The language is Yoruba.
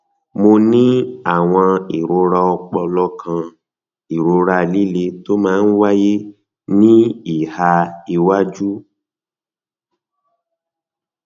um mo ní àwọn ìrora ọpọlọ kan ìrora líle tó máa ń wáyé ní ìhà iwájú